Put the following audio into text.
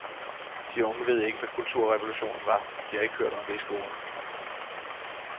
De unge ved ikke, hvad kulturrevolutionen var, de har ikke hørt om det i skolen.